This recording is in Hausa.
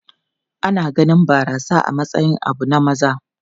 Ana ganin barasa a matsayin abu na maza.